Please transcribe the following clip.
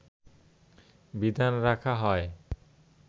বিধান রাখা হয়